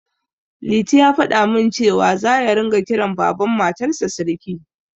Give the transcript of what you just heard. Liti ya faɗa min cewa, za ya ringa kiran Baban Matarsa Siriki